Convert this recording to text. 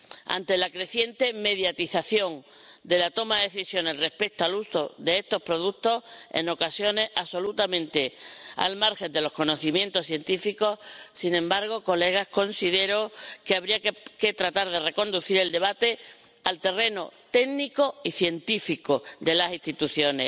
ante la creciente mediatización de la toma de decisiones respecto al uso de estos productos, en ocasiones absolutamente al margen de los conocimientos científicos, considero, Señorías, que habría que tratar de reconducir el debate al terreno técnico y científico de las instituciones.